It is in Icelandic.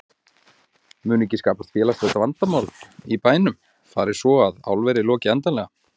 Mun ekki skapast félagslegt vandamál í bænum fari svo að álverið loki endanlega?